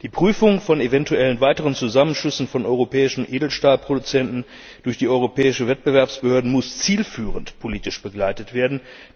Die Prüfung von eventuellen weiteren Zusammenschlüssen von europäischen Edelstahlproduzenten durch die europäischen Wettbewerbsbehörden muss zielführend politisch begleitet werden.